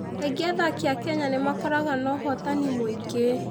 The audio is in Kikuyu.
Kaingĩ athaki a Kenya nĩ makoragwo na ũhootani mũingĩ.